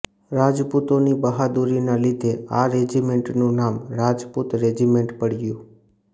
રાજપૂતો ની બહાદુરી ના લીધે આ રેજિમેન્ટ નું નામ રાજપૂત રેજિમેન્ટ પડ્યુ